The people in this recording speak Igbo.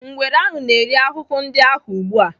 Ngwere ahụ na-eri ahụhụ ndị ahụ ugbu a.